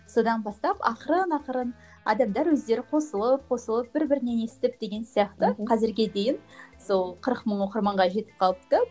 содан бастап ақырын ақырын адамдар өздері қосылып қосылып бір бірінен естіп деген сияқты қазірге дейін сол қырық мың оқырманға жетіп қалыпты